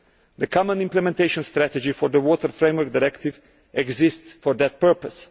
The common implementation strategy for the Water Framework Directive exists for that purpose.